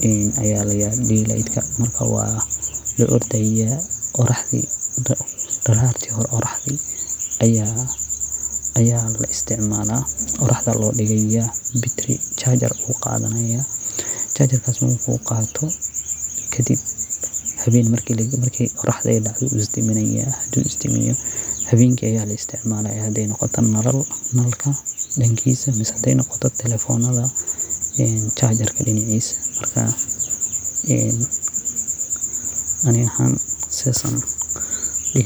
diliyt aya ladaha marka wa laordaya darati qoraxda hore aya laisticmala waxa lodigaya bitri jajar ayu qadanaya marku qato kadib markey qoroxdu dacdo wu isdaminaya marku isdamiyo hawenki aya laisticmalaya hadey noqoto nal dankisa mise hadey noqoto telefonada jajar lagalinayo marka ani ahaan sidas ayan dihi laha.